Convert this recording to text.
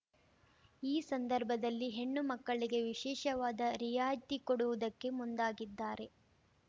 ಈ ಸಂದರ್ಭದಲ್ಲಿ ಹೆಣ್ಣು ಮಕ್ಕಳಿಗೆ ವಿಶೇಷವಾದ ರಿಯಾಯಿತಿ ಕೊಡುವುದಕ್ಕೆ ಮುಂದಾಗಿದ್ದಾರೆ